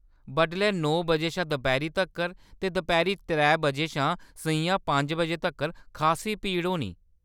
बडलै नौ बजे शा दपैह्‌‌री तक्कर ते दपैह्‌‌री त्रै बजे शा सʼञां पंज बजे तक्कर खासी भीड़ होनी।